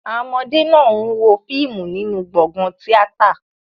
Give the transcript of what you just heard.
Àwọn ọmọdé náà ń wo fíìmù nínú gbọ̀ngàn tíátà.